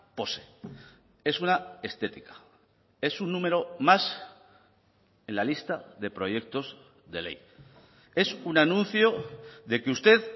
pose es una estética es un número más en la lista de proyectos de ley es un anuncio de que usted